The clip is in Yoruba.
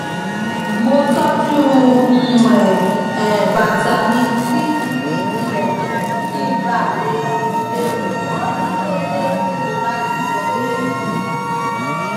mo tọjú um bàtà mi sí ibi ìlẹkùn kí n bà le le wọ ọ ní kété tí mo bá ti wọlé